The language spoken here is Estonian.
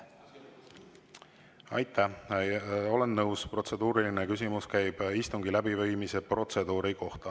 Olen nõus, protseduuriline küsimus käib istungi läbiviimise protseduuri kohta.